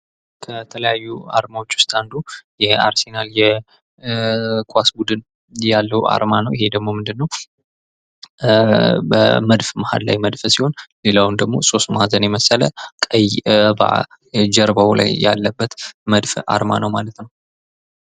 ከተለያዩ አርማዎች ውስጥ አንዱ የአርሰናል ኳስ ቡድን ያለው አርማ ነው ይህ ደግሞ ምንድን ነው በመድፍ መሀል ላይ መድፍ ሲሆን ሌላውን ደግሞ ሶስት ማዕዘን የመሰለ ቀይ ጀርባው ላይ ያለበት መድፍ አርማ ነው ማለት ነው ።